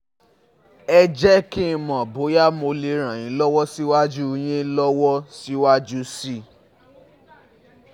Ẹ jẹ́ kí n mọ̀ bóyá mo lè ràn yín lọ́wọ́ síwájú yín lọ́wọ́ síwájú sí i